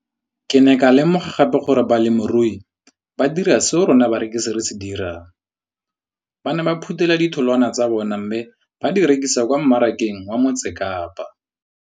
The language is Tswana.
Ke ne ka lemoga gape gore balemirui ba dira seo rona barekisi re se dirang, ba ne ba phuthela ditholwana tsa bona mme ba di rekisa kwa marakeng wa Motsekapa.